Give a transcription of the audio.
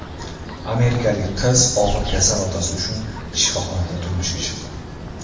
Amerikalik qiz og‘ir kasal otasi uchun shifoxonada turmushga chiqdi.